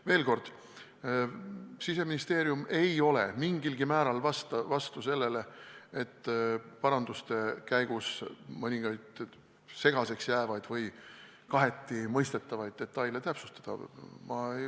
Veel kord: Siseministeerium ei ole mingilgi määral vastu sellele, et paranduste käigus mõningaid segaseks jäävaid või kahetimõistetavaid detaile täpsustada.